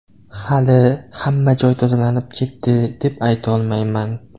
Hali: ‘Hamma joy tozalanib ketdi’, deb aytolmayman.